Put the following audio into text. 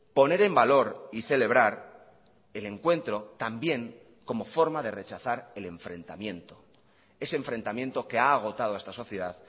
poner en valor y celebrar el encuentro también como forma de rechazar el enfrentamiento ese enfrentamiento que ha agotado a esta sociedad